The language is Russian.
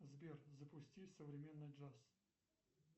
сбер запусти современный джаз